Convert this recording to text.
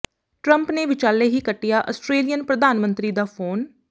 Trump ਨੇ ਵਿਚਾਲੇ ਹੀ ਕੱਟਿਆ ਅਸਟ੍ਰੇਲੀਅਨ ਪ੍ਰਧਾਨ ਮੰਤਰੀ ਦਾ ਫੋਨ